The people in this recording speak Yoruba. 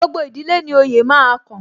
Gbogbo ìdílé ni oyè máa kan